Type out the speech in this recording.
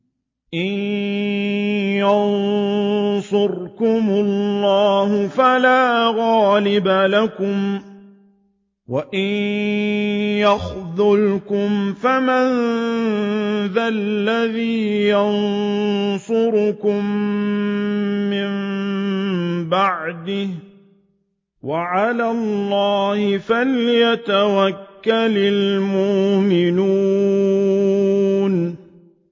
إِن يَنصُرْكُمُ اللَّهُ فَلَا غَالِبَ لَكُمْ ۖ وَإِن يَخْذُلْكُمْ فَمَن ذَا الَّذِي يَنصُرُكُم مِّن بَعْدِهِ ۗ وَعَلَى اللَّهِ فَلْيَتَوَكَّلِ الْمُؤْمِنُونَ